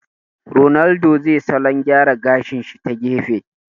Ronaldo zai salon gyara gashi shi ta gefe